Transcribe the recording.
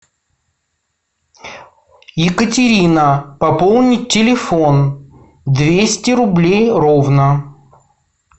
екатерина пополнить телефон двести рублей ровно